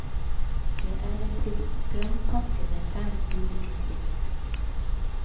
Det er en programpakke med fem ulike spill.